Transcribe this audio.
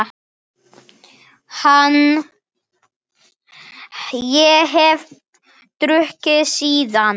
Ég hef ekki drukkið síðan.